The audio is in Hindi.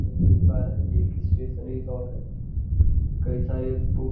यह आप देख पा रहें हैं कि यह एक स्टेशनरी शॉप है। कई सारे बुक --